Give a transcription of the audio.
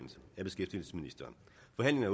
er